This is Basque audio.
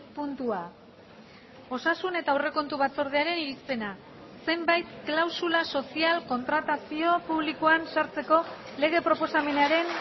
puntua osasun eta aurrekontu batzordearen irizpena zenbait klausula sozial kontratazio publikoan sartzeko lege proposamenaren